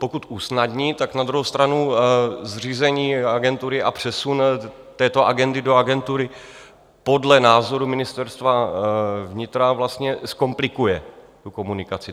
Pokud usnadní, tak na druhou stranu zřízení agentury a přesun této agendy do agentury podle názoru Ministerstva vnitra vlastně zkomplikuje tu komunikaci.